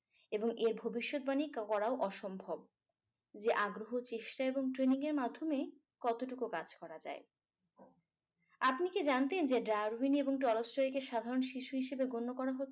এবং এ ভবিষ্যৎ বাণী করাও অসম্ভব যে আগ্রহ চেষ্টা এবং training এর মাধ্যমে কতটুকু কাজ করা যায় আপনি কি জানতেন যে darwin এবং tolstoy কে সাধারণ শিশু হিসেবে গণ্য করা হতো